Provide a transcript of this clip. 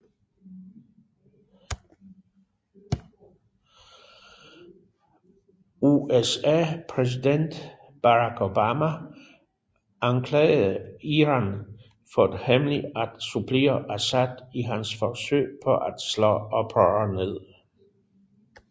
USAs præsident Barack Obama anklagede Iran for hemmeligt at supplere Assad i hans forsøg på at slå oprør ned